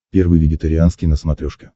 первый вегетарианский на смотрешке